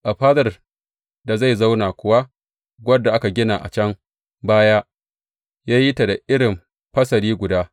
A fadar da zai zauna kuwa, wadda aka gina a can baya, ya yi ta da irin fasali guda.